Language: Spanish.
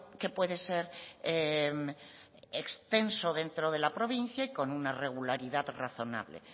que puede ser extenso dentro de la provincia y con una regularidad razonable